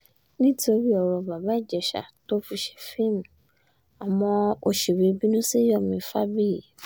nítorí ọ̀rọ̀ bàbá ìjèṣà tó fi ṣe fíìmù àwọn òṣèré bínú sí yomi fábíyì